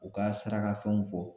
U ka saraka fɛnw fɔ